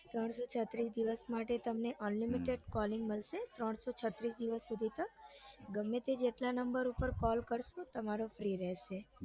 ત્રણસો છત્રીસ માટે તમને unlimited calling મળશે ત્રણસો છત્રીસ સુધી તો ગમે તે જેટલા number પર call કરસો તમારો free રેસે